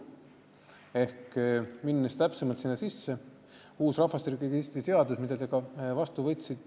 Läheme täpsemalt uue rahvastikuregistri seaduse sisse, mille teie ju ka vastu võtsite.